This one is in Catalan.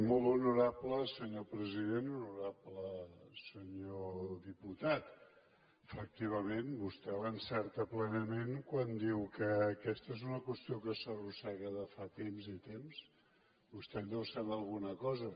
molt honorable senyor president honorable senyor diputat efectivament vostè l’encerta plenament quan diu que aquesta és una qüestió que s’arrossega de fa temps i temps vostè en deu saber alguna cosa